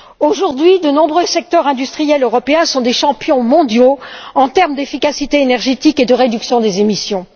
Aujourd'hui, de nombreux secteurs industriels européens sont des champions mondiaux de l'efficacité énergétique et de la réduction des émissions.